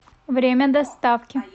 время доставки